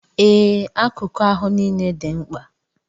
Ee, akuku ahụ nile di nkpa